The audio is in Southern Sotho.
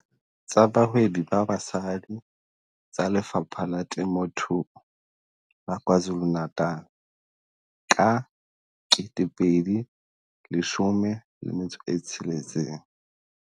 Tsa Bahwebi ba Basadi tsa Lefapha la Temothuo la KwaZulu-Natal ka 2016.